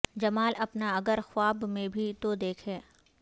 جما ل اپنا اگر خواب میں بھی تو دیکھے